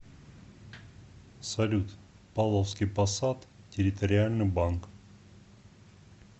салют павловский посад территориальный банк